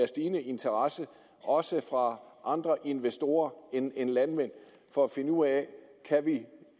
stigende interesse også fra andre investorer end landmænd for at finde ud